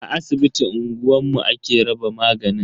A asibitin unguwanmu ake raba maganin.